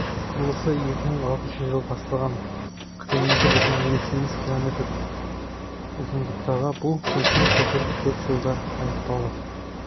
құрылысы екі мың алтыншы жылы басталған қырық екі бүтін елу сегіз километр ұзындықтағы бұл үлкен көпір төрт жылда аяқталды